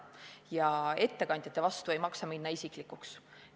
Ja ettekandjatele vastu vaieldes ei maksa minna isiklikuks.